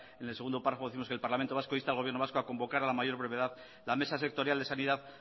en el segundo párrafo décimos que el parlamento vasco insta al gobierno vasco a convocar a la mayor brevedad la mesa sectorial de sanidad